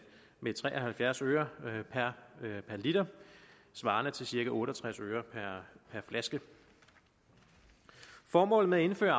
med tre og halvfjerds øre per liter svarende til cirka otte og tres øre per flaske formålet med at indføre